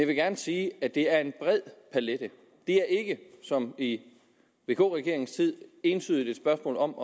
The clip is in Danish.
vil gerne sige at det er en bred palet det er ikke som i vk regeringens tid entydigt et spørgsmål om